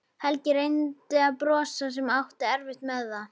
Helgi reyndi að brosa en átti erfitt með það.